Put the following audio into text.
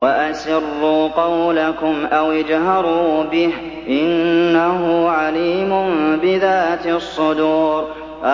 وَأَسِرُّوا قَوْلَكُمْ أَوِ اجْهَرُوا بِهِ ۖ إِنَّهُ عَلِيمٌ بِذَاتِ الصُّدُورِ